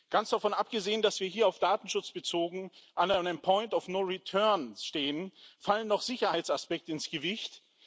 Ganz davon abgesehen, dass wir hier auf Datenschutz bezogen an einem point of no return stehen, fallen noch Sicherheitsaspekte ins Gewicht.